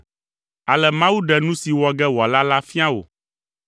“Ale Mawu ɖe nu si wɔ ge wòala la fia wò.